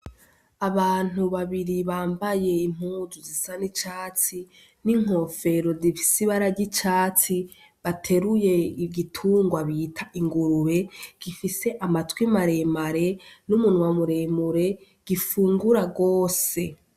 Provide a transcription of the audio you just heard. Abantu babiri bambaye impuzu zisa n'icyatsi n'inkofero zifise ibara ry'icyatsi bateruye igitungwa bita ingurube, gifise amatwi maremare n'umunwa muremure gifungura rwose.